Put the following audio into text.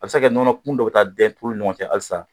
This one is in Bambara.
A bɛ se ka nɔnɔ kun dɔ taa dɛn ni ɲɔgɔn cɛ halisa